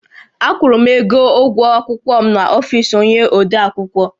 Akwụrụ m ego ụgwọ akwụkwọ m n’ọfisi onyé odeakwụkwọ